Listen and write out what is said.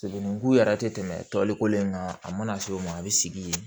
Degun yɛrɛ tɛ tɛmɛ tɔliko in kan a mana se o ma a bɛ sigi yen